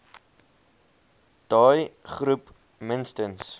daai groep minstens